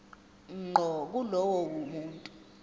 ngqo kulowo muntu